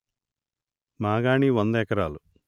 మాగాణి వంద ఎకరాలు